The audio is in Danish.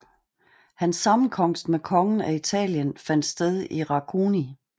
Hans sammenkomst med kongen af Italien fandt sted i Racconigi